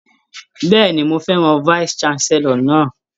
Bẹ́ẹ̀ni, mo fẹ́ràn vice chancellor náà.